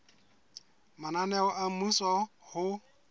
mananeo a mmuso a ho